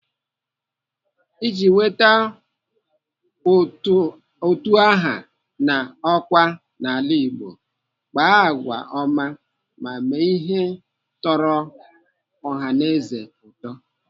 Iji nweta ụtụ aha na ọkwá n'ala Igbo, kpaa agwa ọma ma mee ihe tọrọ ọhaneze ụtọ.